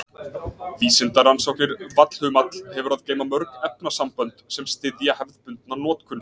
Vísindarannsóknir Vallhumall hefur að geyma mörg efnasambönd sem styðja hefðbundna notkun.